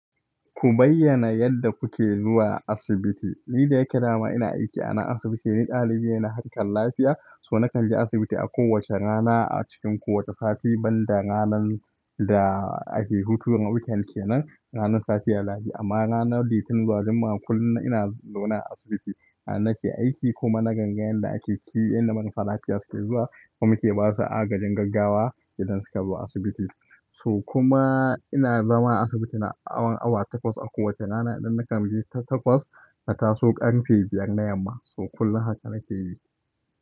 Ku bayyana yadda kuke zuwa asibiti. Ni da yake dama ina aiki a nan asibiti, ni dalibi ne na harkar lafiya. To nakan je asibiti a kowace rana a cikin kowane sati banda ranar da ake hutu weekend kenan. Ranar safiyar lahadi amma ranar Litinin zuwa Juma'a kullum ina zaune a asibiti. Har nake aiki kuma na kanga yanda ake aiki yanda marasa lafiya suke zuwa kuma muke basu agajin gaggawa idan suka zo asibiti. So kuma ina zama a asibiti na tsawon awa takwas a kowace rana. Idan na kamo biyu tun takwas, na taso ƙarfe biyar na yamma. So kullum haka nake yi.